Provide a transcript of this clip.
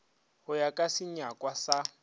go ya ka senyakwa sa